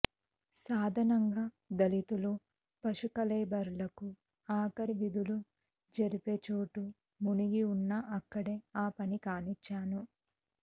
సాధాణంగా దళితులు పశు కళేబరాలకు ఆఖరి విధులు జరిపే చోటు మునిగి ఉన్నా అక్కడే ఆ పని కానిచ్చాను